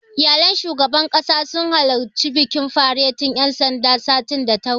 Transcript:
Iyalan shugaban ƙasa sun halarci bikin faretin ƴan sandan, satin da ya wuce.